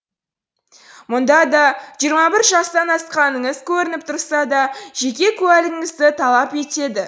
мұнда да жиырма бір жастан асқаныңыз көрініп тұрса да жеке куәлігіңізді талап етеді